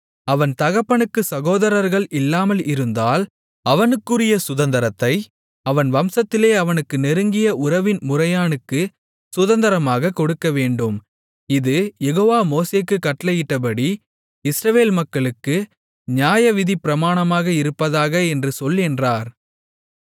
அவன் தகப்பனுக்குச் சகோதரர்கள் இல்லாமல் இருந்தால் அவனுக்குரிய சுதந்தரத்தை அவன் வம்சத்திலே அவனுக்குக் நெருங்கிய உறவின் முறையானுக்குச் சுதந்தரமாகக் கொடுக்க வேண்டும் இது யெகோவா மோசேக்குக் கட்டளையிட்டபடி இஸ்ரவேல் மக்களுக்கு நியாயவிதிப்பிரமாணமாக இருப்பதாக என்று சொல் என்றார்